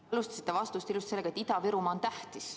Te alustasite vastust sellega, et Ida-Virumaa on tähtis.